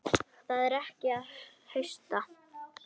Það er tekið að hausta.